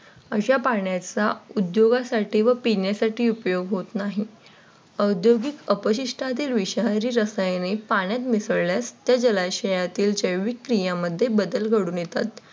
अशा पाण्याचा उद्योगासाठी व पिण्यासाठी उपयोग होत नाही. औद्योगिक अपशिष्ठातील विषारी रसायने पाण्यात मिसळल्यास ते जलाशयातील जैविक क्रियांमध्ये बदल घडून येतात.